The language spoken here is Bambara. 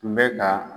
Tun bɛ ka